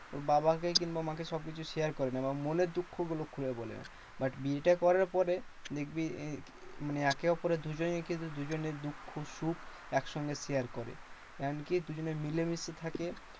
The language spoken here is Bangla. বাবাকে কিংবা মাকে সবকিছু share করে না। বা মনের দুঃখ গুলো খুলে বলে না। but বিয়েটা করার পরে, দেখবি মানে একেঅপরের দুজনেই কিন্তু দুজনের দুঃখ সুখ একসঙ্গে share করে। এমনকি দুজনে মিলে মিশে থাকে।